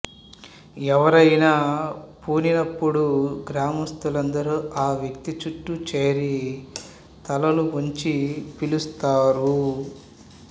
ఎవరైనా పూని నపుడు గ్రామస్తులందరు ఆ వ్వక్తి చుట్టూ చేరి తలలు వంచి పిలుస్తారు